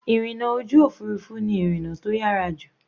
Ìrìna ojú òfurufú ni ìrìna tó yára jù.